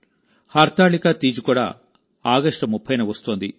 హర్తాళికా తీజ్ కూడా ఆగస్టు 30న వస్తోంది